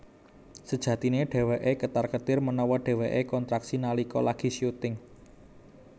Sejatiné dhéwéké ketar ketir menawa dheweké kontraksi nalika lagi syuting